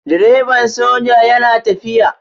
Direban soja yana tafiya.